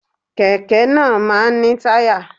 Kẹ̀kẹ́ náà máa ń ní táyà